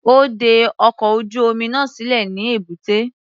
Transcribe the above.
Ó de ọkọ̀ ojú-omi náà sílẹ̀ ní èbúté.